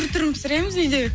түр түрін пісіреміз үйде